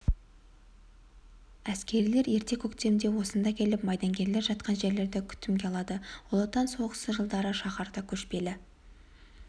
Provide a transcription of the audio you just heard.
әскерилер ерте көктемде осында келіп майдангерлер жатқан жерлерді күтімге алады ұлы отан соғысы жылдары шаһарда көшпелі